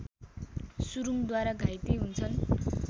सुरङद्वारा घाइते हुन्छन्